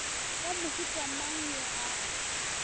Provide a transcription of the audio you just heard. wa mohuta mang yo a